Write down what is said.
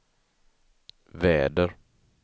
väder